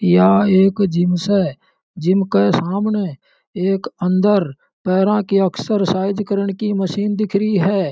या एक जिम से जिम के सामने एक अंदर पैरा की एक्सरसाइज करने की मशीन दिख रही है।